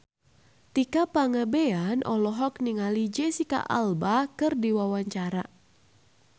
Tika Pangabean olohok ningali Jesicca Alba keur diwawancara